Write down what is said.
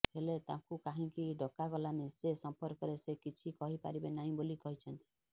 ହେଲେ ତାଙ୍କୁ କାହିଁକି ଡକା ଗଲାନି ସେ ସମ୍ପର୍କରେ ସେ କିଛି କହି ପାରିବେ ନାହିଁ ବୋଲି କହିଛନ୍ତି